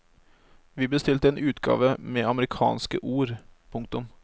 Vi bestilte en utgave med amerikanske ord. punktum